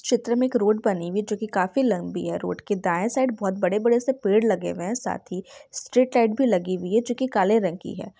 चित्र में एक रोड बनी हुई हैं जो की काफी लम्बी हैं रोड दाये साइड बहोत बड़े - बड़े से पेड़ लगे हुए हैं साथ ही स्ट्रीट लाइट भी लगी हुई हैं जो की काले रंग की हैं।